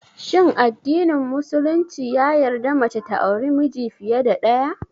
Shin addinin musulumci ya yarda mace ta auri miji fiye da ɗaya?